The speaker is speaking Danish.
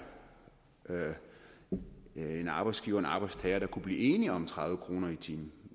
en arbejdsgiver eller arbejdstager der kunne blive enige om tredive kroner i timen